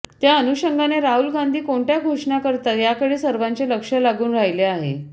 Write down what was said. त्या अनुषंगाने राहुल गांधी कोणत्या घोषणा करतात याकडे सर्वांचे लक्ष लागून राहिले आहे